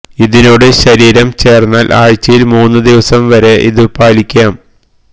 ഇതിനോട് ശരീരം ചേര്ന്നാല് ആഴ്ചയില് മൂന്നു ദിവസം വരെ ഇതു പാലിയ്ക്കാം